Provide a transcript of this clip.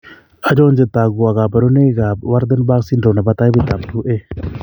Achon chetogu ak kaborunoik ab Waardenburg syndrome nebo taipit ab 2A